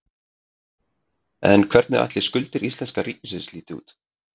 En hvernig ætli skuldir íslenska ríkisins líti út?